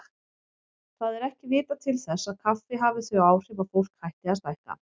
Það er ekki vitað til þess kaffi hafi þau áhrif að fólk hætti að stækka.